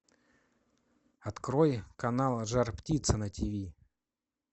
открой канал жар птица на тв